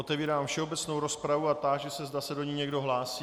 Otevírám všeobecnou rozpravu a táži se, zda se do ní někdo hlásí.